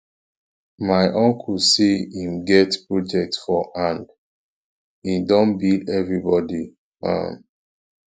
my uncle say im get project for hand im don bill everybodi um